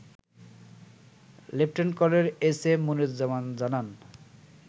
Lieutenant Colonel SM Moniruzzaman জানান